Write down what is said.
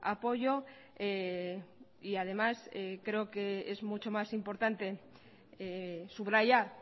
apoyo y además creo que es mucho más importante subrayar